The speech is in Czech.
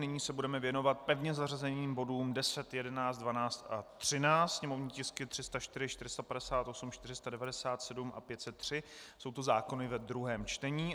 Nyní se budeme věnovat pevně zařazeným bodům 10, 11, 12 a 13, sněmovní tisky 304, 458, 497 a 503, jsou to zákony ve druhém čtení.